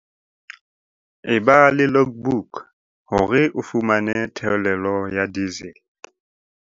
Eba le logbook hore o fumane theolelo ya diesel